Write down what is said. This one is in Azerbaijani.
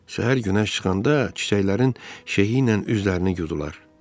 Səhər günəş çıxanda çiçəklərin şehi ilə üzlərini yudular.